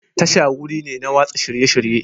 Tasha wuri ne na watsa shirye-shirye.